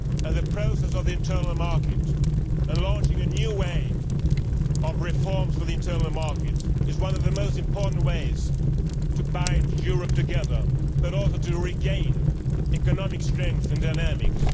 The process of the internal market, and of launching a new wave of reform for the internal market, is one of the most important ways of binding Europe together, and also of regaining economic strength and dynamism.